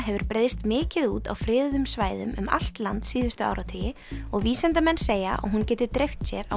hefur breiðst mikið út á friðuðum svæðum um allt land síðustu áratugi og vísindamenn segja að hún geti dreift sér á